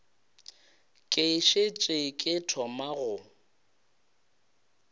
ke šetše ke thoma go